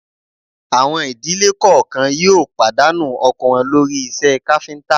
Àwọn ìdílé kọ̀ọ̀kan yóò pàdánù ọkọ wọn lórí iṣẹ́ káfíńtà